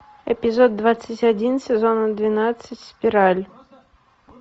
эпизод двадцать один сезона двенадцать спираль